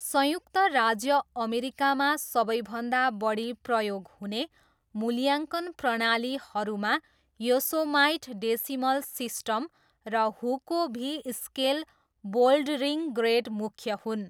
संयुक्त राज्य अमेरिकामा सबैभन्दा बढी प्रयोग हुने मूल्याङ्कन प्रणालीहरूमा योसोमाइट डेसिमल सिस्टम र Hueco V scale bouldering grade मुख्य हुन्।